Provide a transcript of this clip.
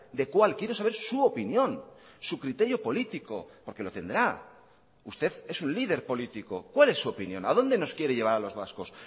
de cuál quiero saber su opinión su criterio político porque lo tendrá usted es un líder político cuál es su opinión a dónde nos quiere llevar a los vascos